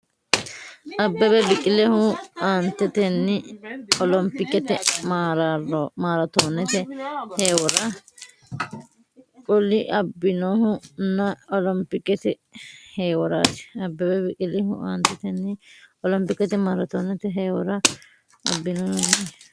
Abbebe Biqilihu aantetenni olompikete maaraatoonete heewora cul- abbinohu nna olompikete heeworaati Abbebe Biqilihu aantetenni olompikete maaraatoonete heewora cul- abbinohu nna.